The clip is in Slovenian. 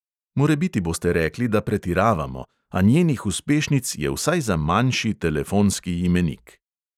Morebiti boste rekli, da pretiravamo, a njenih uspešnic je vsaj za manjši telefonski imenik.